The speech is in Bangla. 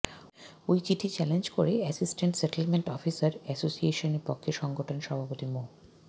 ওই চিঠি চ্যালেঞ্জ করে অ্যাসিস্টেন্ট সেটেলমেন্ট অফিসার অ্যাসোসিয়েশনের পক্ষে সংগঠনের সভাপতি মো